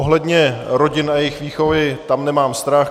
Ohledně rodin a jejich výchovy, tam nemám strach.